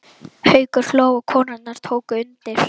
Haukur hló og konurnar tóku undir.